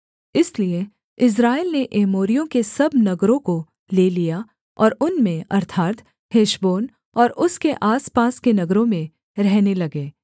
इसलिए इस्राएल ने एमोरियों के सब नगरों को ले लिया और उनमें अर्थात् हेशबोन और उसके आसपास के नगरों में रहने लगे